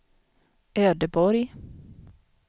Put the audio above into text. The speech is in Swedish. Ödeborg